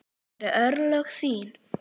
Það eru örlög þín.